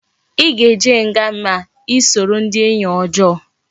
I ga eje nga ma esoro ndi enyi ojoo